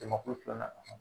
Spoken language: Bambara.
Jamakulu filanan